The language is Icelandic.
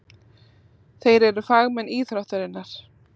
Þeir eru fagmenn íþróttarinnar.